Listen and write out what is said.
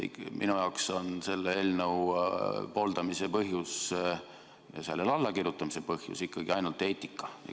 Ikkagi minu jaoks on selle eelnõu pooldamise põhjus ja sellele allakirjutamise põhjus ainult eetika.